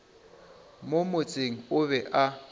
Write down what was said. mo motseng o be a